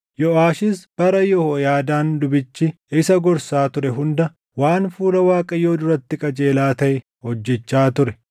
Yooʼaashis bara Yehooyaadaan lubichi isa gorsaa ture hunda waan fuula Waaqayyoo duratti qajeelaa taʼe hojjechaa ture.